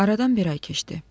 Aradan bir ay keçdi.